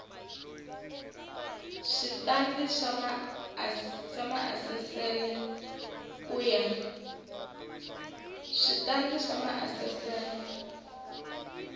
switandati swa maasesele ku ya